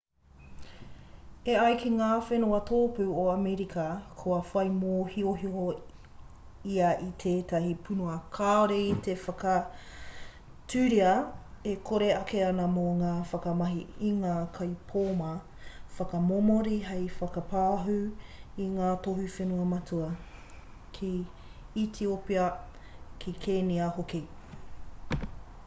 e ai ki ngā whenua tōpū o amerika kua whai mōhiohio ia i tētahi puna kāore i te whakaaturia e kōrero ake ana mō te whakamahi i ngā kaipōma whakamomori hei whakapāhū i ngā tohu whenua matua ki etiopia ki kenia hoki